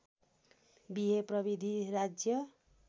बिहे प्रविधी राज्य